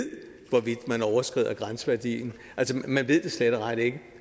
hvorvidt man overskrider grænseværdien altså man ved det slet og ret ikke